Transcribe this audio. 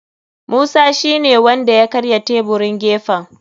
Musa shine wanda ya karya taburin gefen.